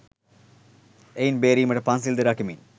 එයින් බේරීමට පන්සිල්ද රකිමින්